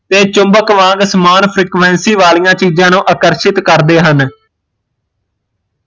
ਤੇ ਚੁਮਬਕ ਵਾਂਗ ਸਮਾਨ frequency ਵਾਲੀਆ ਚੀਜ਼ਾਂ ਨੂ ਆਕਰਸ਼ਿਤ ਕਰਦੇ ਹਨ